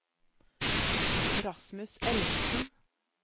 Rasmus Ellingsen